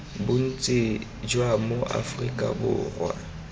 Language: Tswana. bontsi jwa ma aforika borwa